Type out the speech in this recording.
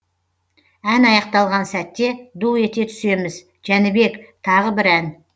ән аяқталған сәтте ду ете түсеміз жәнібек тағы бір ән